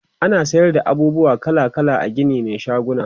ana sayar da abubuwa kala kala a Gini Mai shaguna